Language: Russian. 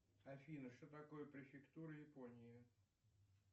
афина что такое префектура японии